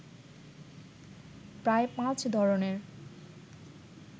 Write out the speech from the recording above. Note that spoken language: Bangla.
প্রায় পাঁচ ধরণের